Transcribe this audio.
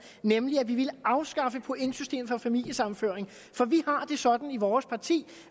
nemlig at vi ville afskaffe pointsystemet for familiesammenføring for vi har det sådan i vores parti